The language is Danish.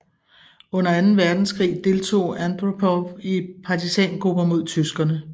Under anden verdenskrig deltog Andropov i partisangrupper mod tyskerne